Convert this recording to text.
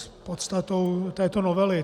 S podstatou této novely.